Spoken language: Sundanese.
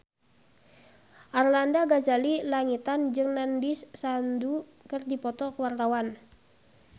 Arlanda Ghazali Langitan jeung Nandish Sandhu keur dipoto ku wartawan